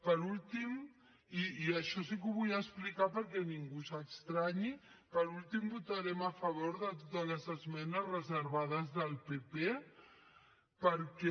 per últim i això sí que ho vull explicar perquè ningú s’estranyi votarem a favor de totes les esmenes reservades del pp perquè